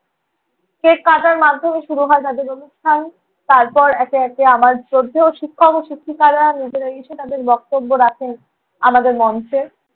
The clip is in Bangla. cake কাটার মাধ্যমে শুরু হয় তাঁদের অনুষ্ঠান। তারপর একে একে আমার শ্রদ্ধেয় শিক্ষক ও শিক্ষিকারা নিজেরাই এসে তাঁদের বক্তব্য রাখেন আমাদের মঞ্চে।